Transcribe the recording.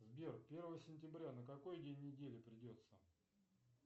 сбер первое сентября на какой день недели придется